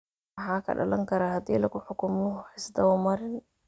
Maxaa ka dhalan kara hadii lagu xukumo wax isdaba marin?